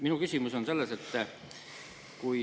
Minu küsimus on see.